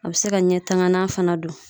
A bɛ se ka ɲɛtanga fana don.